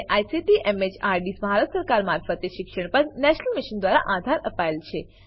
જેને ICT MHRD Bharat સરકાર મારફતે શિક્ષણ પર નેશનલ મિશન દ્વારા આધાર અપાયેલ છે